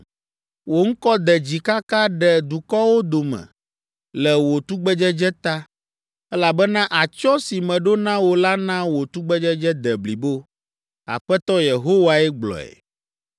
Wò ŋkɔ de dzi kaka ɖe dukɔwo dome le wò tugbedzedze ta, elabena atsyɔ̃ si meɖo na wò la na wò tugbedzedze de blibo. Aƒetɔ Yehowae gblɔe.